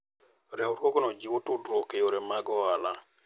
Riwruogno jiwo tudruok e yore mag ohala.